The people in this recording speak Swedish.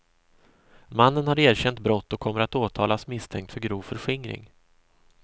Mannen har erkänt brott och kommer att åtalas misstänkt för grov förskingring.